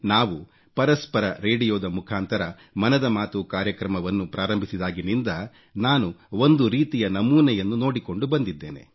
ನಾವು ಪರಸ್ಪರ ರೇಡಿಯೋ ದ ಮುಖಾಂತರ ಮನದ ಮಾತು ಕಾರ್ಯಕ್ರಮವನ್ನು ಪ್ರಾರಂಭಿಸಿದಾಗಿನಿಂದ ನಾನು ಒಂದು ರೀತಿಯ ನಮೂನೆಯನ್ನು ನೋಡಿಕೊಂಡು ಬಂದಿದ್ದೇನೆ